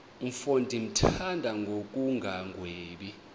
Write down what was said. mfo ndimthanda ngokungagwebi